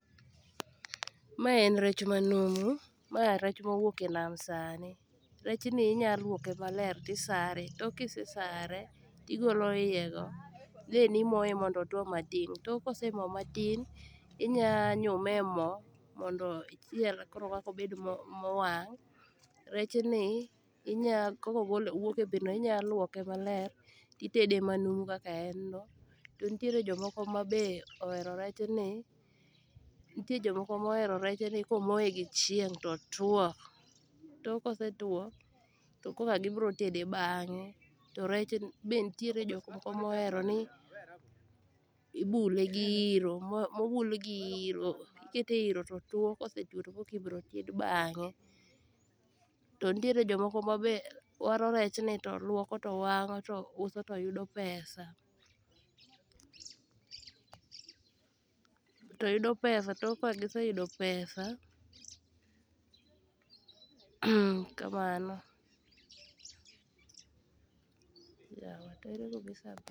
Mae en rech manumu ma rech mowuok enam sani. Rechni inya luoke makler tisare to kisesare tigolo iyego. Then imoye mondo otuo matin tok kose tuo matin inya nyume emo mondo ichiel koro maok obedo mowang'.Rechni inya kokogole owuok ebetno inyaluoke maler titede manumu kaka enno. To nitiere jok moko be mohero rechni komoyegi gi chieng' totuo tokagibiro tede bang'e to rech benitiere jok moko moheroni ibule gi iiro.